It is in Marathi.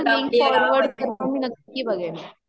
तु मला फॉरव़ड कर मी नक्की बघेल